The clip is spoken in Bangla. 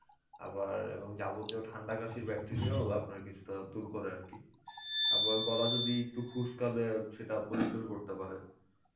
আবার এবং যাবতীয় ঠান্ডা কাশির bacteria ও আপনার কিছুটা দূর করে আরকি, আবার গলা যদি একটু খুসকালে সেটা পরিস্কারও করতে পারে.